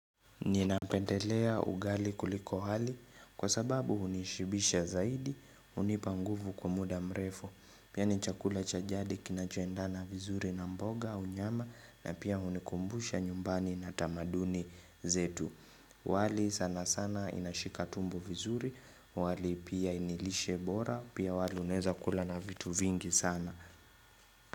Nina pendelea ugali kuliko hali kwa sababu unishibisha zaidi unipanguvu kwa muda mrefu Pia ni chakula cha jadi kinachoendana vizuri na mboga au nyama na pia unikumbusha nyumbani na tamaduni zetu wali sana sana inashika tumbo vizuri wali pia nilishe bora pia wali uneza kula na vitu vingi sana.